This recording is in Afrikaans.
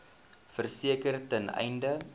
verseker ten einde